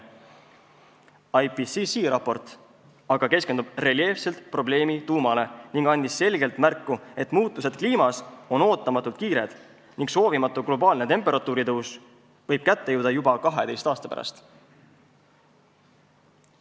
IPCC raport aga keskendub reljeefselt probleemi tuumale ning annab selgelt märku, et muutused on ootamatult kiired ning soovimatu globaalne temperatuuri tõus võib kätte jõuda juba 12 aasta pärast.